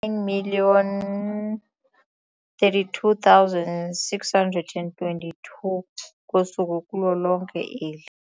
9 032 622 ngosuku kulo lonke eli.